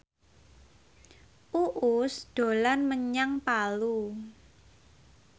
Uus dolan menyang Palu